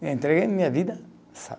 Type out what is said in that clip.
Eu entreguei minha vida,